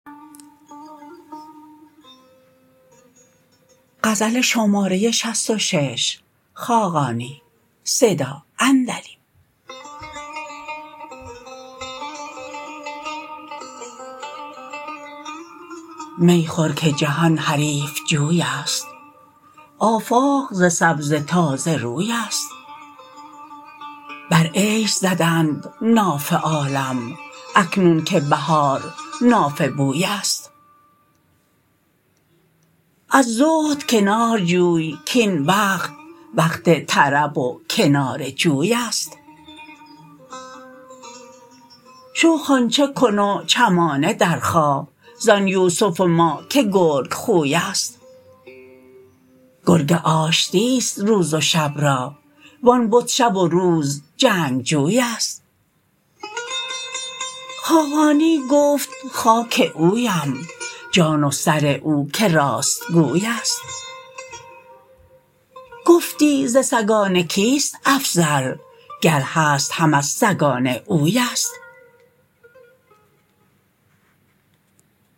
می خور که جهان حریف جوی است آفاق ز سبزه تازه روی است بر عیش زدند ناف عالم اکنون که بهار نافه بوی است از زهد کنار جوی کاین وقت وقت طرب و کنار جوی است شو خوانچه کن و چمانه درخواه زان یوسف ما که گرگ خوی است گرگ آشتی است روز و شب را و آن بت شب و روز جنگ جوی است خاقانی گفت خاک اویم جان و سر او که راست گوی است گفتی ز سگان کیست افضل گر هست هم از سگان اوی است